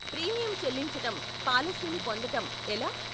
Premium చెల్లించటం, పాలసీని పొందటం ఎలా?